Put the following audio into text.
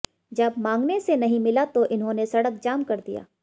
जब मांगने से नहीं मिला तो इन्होंने सड़क जाम कर दिया